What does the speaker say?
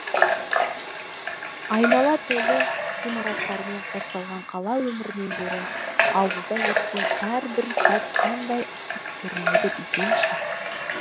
айнала толы ғимараттармен қоршалған қала өмірінен гөрі ауылда өткен әрбір сәт қандай ыстық көрінеді десеңізші